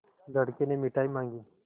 लड़के ने मिठाई मॉँगी